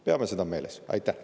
Peame seda meeles!